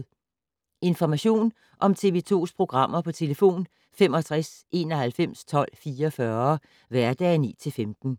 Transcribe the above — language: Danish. Information om TV 2's programmer: 65 91 12 44, hverdage 9-15.